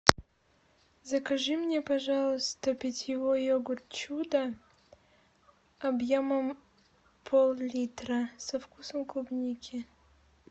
закажи мне пожалуйста питьевой йогурт чудо объемом пол литра со вкусом клубники